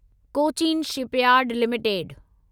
Cochin shipyard limited